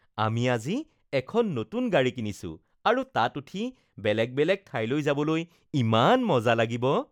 আমি আজি এখন নতুন গাড়ী কিনিছো আৰু তাত উঠি বেলেগ বেলেগ ঠাইলৈ যাবলৈ ইমান মজা লাগিব